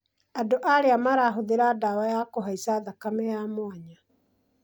andũ arĩa marahũthĩra ndawa ya kũhaica thakame ya mwanya